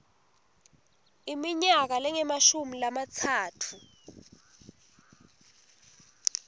iminyaka lengemashumi lamatsatfu